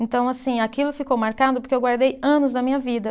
Então, assim, aquilo ficou marcado porque eu guardei anos da minha vida.